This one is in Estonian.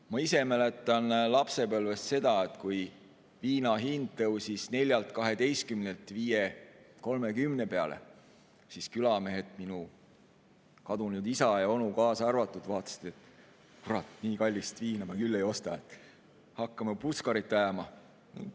Ma ise mäletan lapsepõlvest seda, kui viina hind tõusis 4.12 pealt 5.30 peale, siis külamehed, minu kadunud isa ja onu kaasa arvatud, vaatasid, et nii kallist viina nad küll ei osta, hakkavad puskarit ajama.